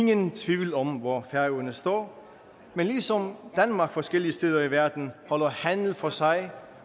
er nogen tvivl om hvor færøerne står men ligesom danmark forskellige steder i verden holder handel for sig